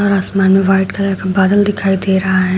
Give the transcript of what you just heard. और आसमान में वाइट कलर का बादल दिखाई दे रहा है।